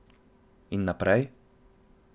In naprej?